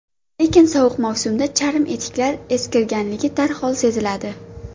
Lekin sovuq mavsumda charm etiklar eskirganligi darhol seziladi.